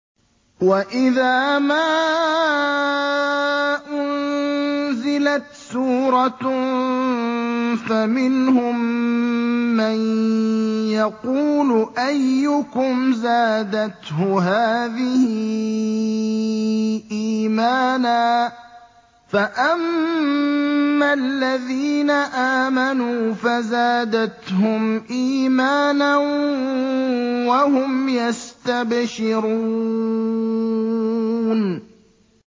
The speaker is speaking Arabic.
وَإِذَا مَا أُنزِلَتْ سُورَةٌ فَمِنْهُم مَّن يَقُولُ أَيُّكُمْ زَادَتْهُ هَٰذِهِ إِيمَانًا ۚ فَأَمَّا الَّذِينَ آمَنُوا فَزَادَتْهُمْ إِيمَانًا وَهُمْ يَسْتَبْشِرُونَ